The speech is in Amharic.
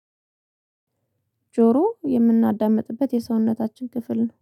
ጆሮ የምናዳምጥበት የሰውነታችን ክፍል ነው